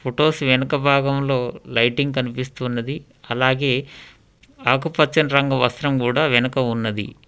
Photos వెనుక భాగంలో lighting కనిపిస్తున్నది అలాగే ఆకుపచ్చని రంగు వస్త్రం కూడా వెనుక ఉన్నది.